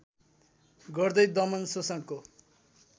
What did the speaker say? गर्दै दमन शोषणको